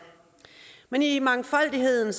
men i mangfoldigheden